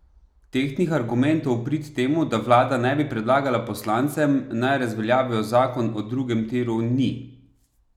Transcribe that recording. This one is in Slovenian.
Tehtnih argumentov v prid temu, da vlada ne bi predlagala poslancem, naj razveljavijo zakon o drugem tiru, ni.